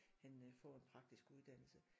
Han øh får en praktisk uddannelse